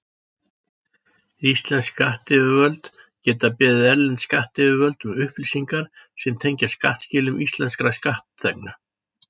Íslensk skattyfirvöld geta beðið erlend skattyfirvöld um upplýsingar sem tengjast skattskilum íslenskra skattþegna.